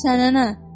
Sənə nə?